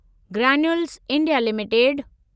granules India limited